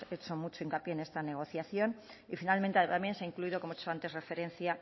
hecho mucho hincapié en este negociación y finalmente también se ha incluido como he hecho antes referencia